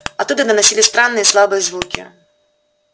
оттуда доносились странные слабые звуки